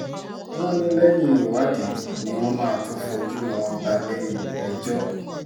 wọ́n ní lẹ́yìn ìwádìí ni wọ́n máa tóó fojú wọn balẹ̀-ẹjọ́